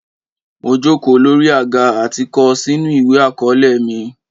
Mo jòkò lórí àgá àti kọ̀ sínù ìwé akọ̀ọ̀lẹ̀ mi.